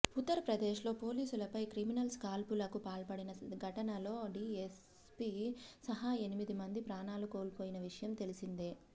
ఉత్తరప్రదేశ్లో పోలీసులపై క్రిమినల్స్ కాల్పులకు పాల్పడిన ఘటనలో డీఎస్పీ సహా ఎనిమిది మంది ప్రాణాలు కోల్పోయిన విషయం తెలిసిందే